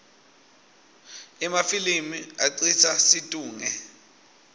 emafilimi acitsa situngle